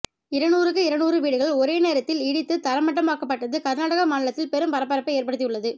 இருநூறுக்கு இருநூறு வீடுகள் ஒரே நேரத்தில் இடித்து தரைமட்டமாக்கப்பட்டது கர்நாடக மாநிலத்தில் பெரும் பரபரப்பை ஏற்படுத்தியுள்ளது